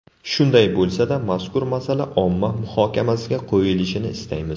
Shunday bo‘lsa-da mazkur masala omma muhokamasiga qo‘yilishini istaymiz.